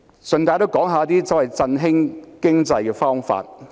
主席，讓我順帶一提一些振興經濟的方法。